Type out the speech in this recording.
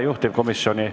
Juhtivkomisjoni ...